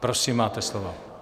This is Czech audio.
Prosím, máte slovo.